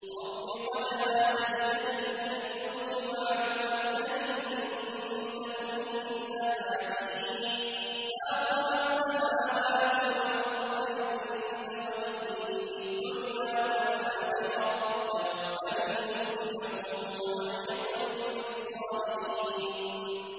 ۞ رَبِّ قَدْ آتَيْتَنِي مِنَ الْمُلْكِ وَعَلَّمْتَنِي مِن تَأْوِيلِ الْأَحَادِيثِ ۚ فَاطِرَ السَّمَاوَاتِ وَالْأَرْضِ أَنتَ وَلِيِّي فِي الدُّنْيَا وَالْآخِرَةِ ۖ تَوَفَّنِي مُسْلِمًا وَأَلْحِقْنِي بِالصَّالِحِينَ